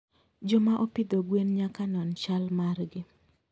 Joma opidho gwen nyaka non chal margi.